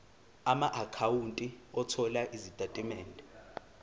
amaakhawunti othola izitatimende